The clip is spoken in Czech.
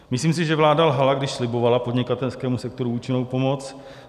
Myslím si, že vláda lhala, když slibovala podnikatelskému sektoru účinnou pomoc.